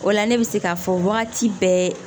O la ne bɛ se k'a fɔ wagati bɛɛ